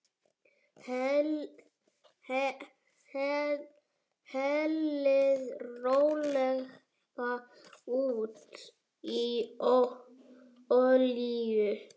Hellið rólega út í olíu.